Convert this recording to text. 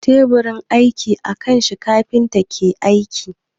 Teburin aiki a kan shi kafinta ke aiki.